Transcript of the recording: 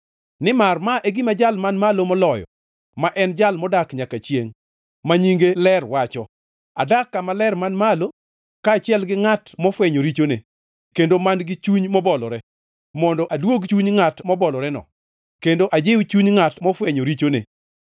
Nimar ma e gima Jal Man Malo Moloyo ma en Jal modak nyaka chiengʼ, ma nyinge ler wacho, “Adak kama ler man malo, kaachiel gi ngʼat mofwenyo richone kendo man-gi chuny mobolore, mondo aduog chuny ngʼat moboloreno kendo ajiw chuny ngʼat mofwenyo richone.